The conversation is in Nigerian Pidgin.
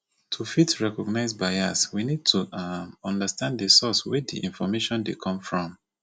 to fit recognize bias we need to um understand di source wey di information dey come from